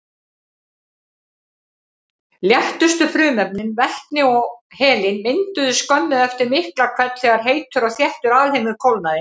Léttustu frumefnin, vetni og helín, mynduðust skömmu eftir Miklahvell þegar heitur og þéttur alheimur kólnaði.